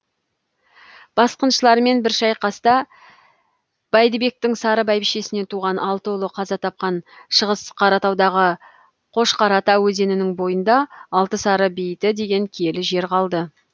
басқыншылармен бір шайқаста бәйдібектің сары бәйбішесінен туған алты ұлы қаза тапқан шығыс қаратаудағы қошқарата өзенінің бойында алты сары бейіті деген киелі жер қалды